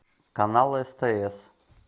канал стс